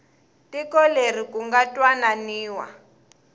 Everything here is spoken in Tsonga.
tiko leri ku nga twananiwa